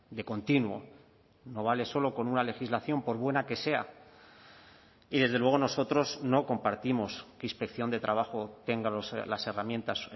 de continuo no vale solo con una legislación por buena que sea y desde luego nosotros no compartimos que inspección de trabajo tenga las herramientas